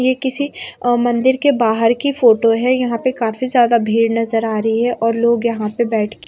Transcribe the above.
ये किसी मंदिर के बाहर की फोटो है यहां पे काफी ज्यादा भीड़ नजर आ रही है और लोग यहां पे बैठ के--